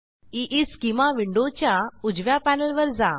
ईस्केमा विंडोच्या उजव्या पॅनेलवर जा